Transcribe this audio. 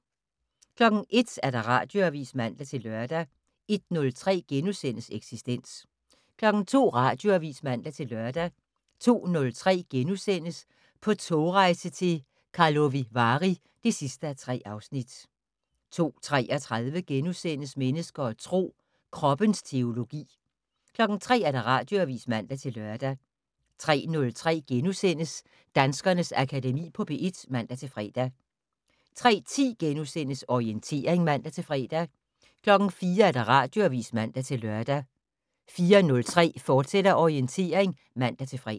01:00: Radioavis (man-lør) 01:03: Eksistens * 02:00: Radioavis (man-lør) 02:03: På togrejse til Karlovy Vary (3:3)* 02:33: Mennesker og Tro: Kroppens teologi * 03:00: Radioavis (man-lør) 03:03: Danskernes Akademi på P1 *(man-fre) 03:10: Orientering *(man-fre) 04:00: Radioavis (man-lør) 04:03: Orientering, fortsat (man-fre)